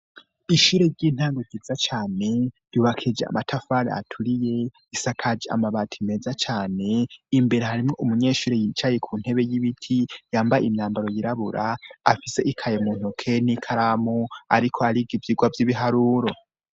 Ishure ry'intango gitsa cyane yubakije amatafari aturiye isakaji amabati meza cane imbere harimwo umunyeshuri yicaye ku ntebe y'ibiti yambaye imyambaro yirabura afise ikaye mu ntoke n'ikaramu ariko arigo iyigwa vy'ibiharuro.